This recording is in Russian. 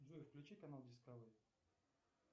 джой включи канал дискавери